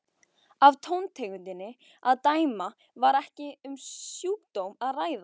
Af tóntegundinni að dæma var ekki um sjúkdóm að ræða.